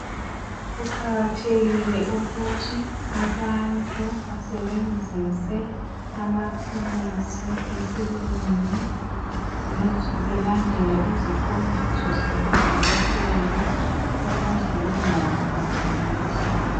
Kuqakathekile ukuthi abantu basebenzise amaphilisi esilungu belandela iziqondiso zabo dokotela ukuze bengawaphambanisi.